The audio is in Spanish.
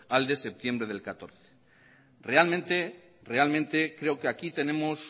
al de septiembre de dos mil catorce realmente creo que aquí tenemos